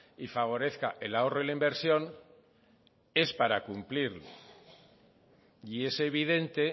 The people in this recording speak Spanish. y favorezca el ahorro y la inversión es para cumplirlo y es evidente